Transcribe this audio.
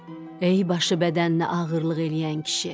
“Ey, başı bədəninə ağırlıq eləyən kişi!